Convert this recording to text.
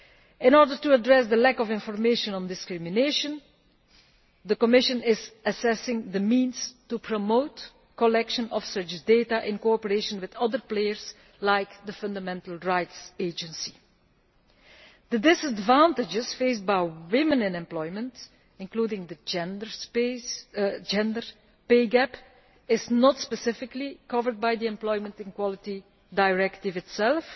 In order to address the lack of information on discrimination, the Commission is assessing the means to promote collection of such data in cooperation with other players, such as the Fundamental Rights Agency. The disadvantages faced by women in employment, including the gender pay gap, are not specifically covered by the Employment and Equality Directive itself,